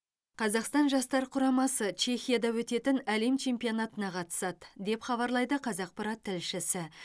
қазақстан жастар құрамасы чехияда өтетін әлем чемпионатына қатысады деп хабарлайды қазақпарат тілшісі